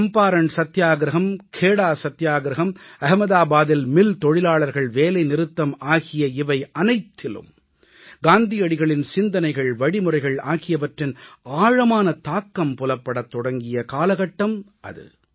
சம்பாரண் சத்தியாகிரஹம் கேடா சத்தியாகிரஹம் அகமதாபாதில் மில் தொழிலாளர்கள் வேலை நிறுத்தம் ஆகிய இவை அனைத்திலும் காந்தியடிகளின் சிந்தனைகள் வழிமுறைகள் ஆகியவற்றின் ஆழமான தாக்கம் புலப்படத் தொடங்கிய காலகட்டம் அது